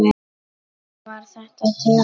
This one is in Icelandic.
Var þetta djass?